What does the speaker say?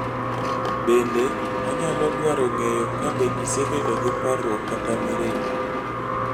Bende, onyalo dwaro ng�eyo ka be isebedo gi parruok kata mirima.